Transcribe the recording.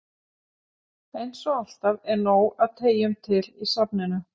Eins og alltaf er nóg af treyjum til í safninu.